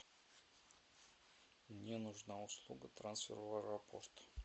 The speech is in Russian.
мне нужна услуга трансфер в аэропорт